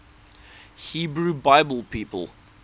hebrew bible people